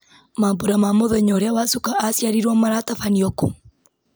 mambura ma mũthenya ũrĩa wacuka aciarirwo maratabanĩrio kũ